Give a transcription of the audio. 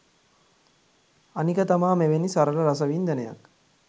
අනික තමා මෙවැනි සරල රසවින්දනයක්